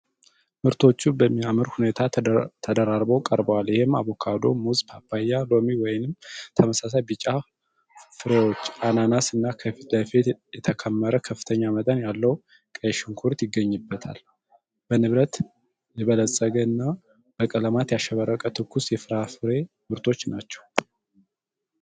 ምርቶቹ በሚያምር ሁኔታ ተደራርበው ቀርበዋል፤ ይህም አቮካዶ፣ ሙዝ፣ ፓፓያ፣ ሎሚ (ወይም ተመሳሳይ ቢጫ ፍሬዎች)፣ አናናስ እና ከፊት ለፊት የተከመረ ከፍተኛ መጠን ያለው ቀይ ሽንኩርት ይገኙበታል። በንብረት የበለፀገ እና በቀለማት ያሸበረቀ ትኩስ የፍራፍሬ ምርቶች ናቸው።